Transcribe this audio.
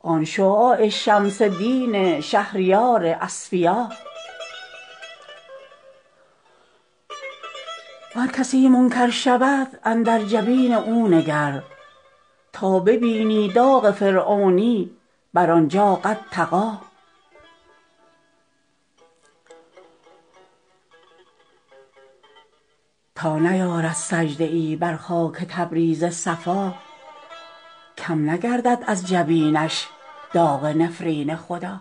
آن شعاع شمس دین شهریار اصفیا ور کسی منکر شود اندر جبین او نگر تا ببینی داغ فرعونی بر آن جا قد طغی تا نیارد سجده ای بر خاک تبریز صفا کم نگردد از جبینش داغ نفرین خدا